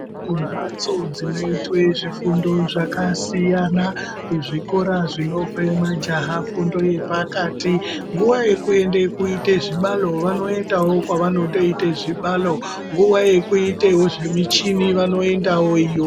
Imbatso dzinoita fundo dzakasiyana kuzvikora zvinopa majaha fundo yepakati nguwa yekuenda kuita zvibari vanoendawo kwavanoenda zvibari nguwa yavanoendabkyita zvemichini vanoendawj iyoyo.